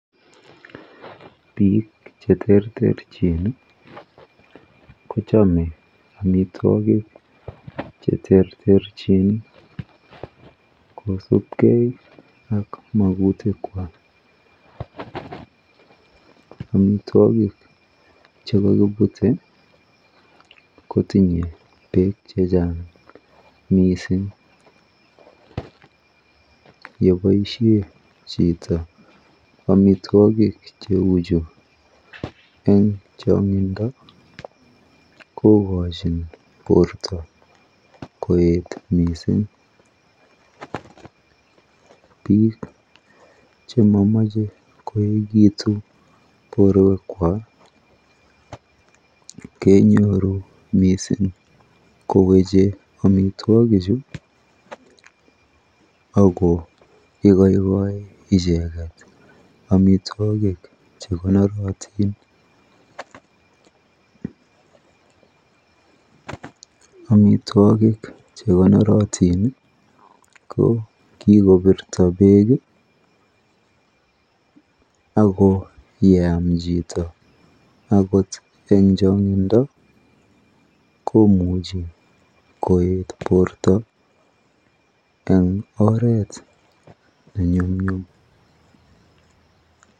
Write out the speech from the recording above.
Piik cheterterchin kochame amitwogik cheterterchin kosupkei ak magutik kwach amitwogik chepo koput kotinyei peek chechang' mising' yepoishen chito amitwogik cheu chu eng' chang'indo kogoshin porto koet mising' piik chemamache koekitu porowek kwach kenyoru mising' mamche amitwogik chu ago igoikoi icheket amitwogik chekonorotin amitwogik chekonorotin ko kigopirto peek ago yeam chito akot eng' chang'indo komuchi koet porto eng' oret ne nyumnyum.